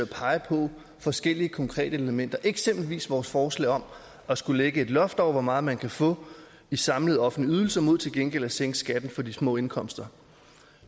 pege på forskellige konkrete elementer det gælder eksempelvis vores forslag om at skulle lægge et loft over hvor meget man kan få i samlet offentlig ydelse mod til gengæld at sænke skatten på de små indkomster